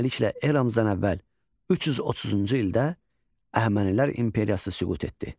Beləliklə eramızdan əvvəl 330-cu ildə Əhəmənilər imperiyası süqut etdi.